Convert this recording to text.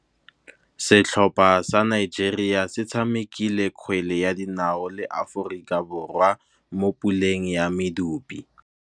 Setlhopha sa Nigeria se tshamekile kgwele ya dinaô le Aforika Borwa mo puleng ya medupe.